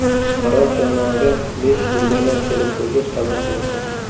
Qaror jamoaga besh legioner kelib bo‘lgach qabul qilindi.